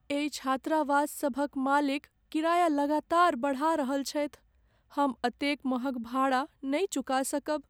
एहि छात्रावास सभक मालिक किराया लगातार बढ़ा रहल छथि, हम एतेक महग भाड़ा नहि चुका सकब।